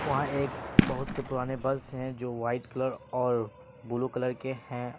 वह एक बहुत से पुराने बस है जो व्हाइट कलर और ब्लू के हैं।